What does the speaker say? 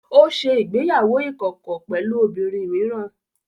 Ó ṣe ìgbéyàwó ìkọ̀kọ̀ pẹ̀lú obìnrin mìíràn